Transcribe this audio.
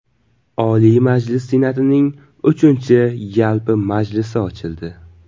Oliy Majlis Senatining uchinchi yalpi majlisi ochildi.